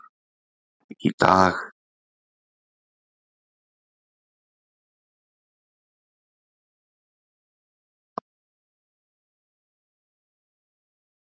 Að eiga í einhverjum hvert bein